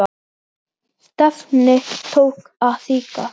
Ber það á sér delinn.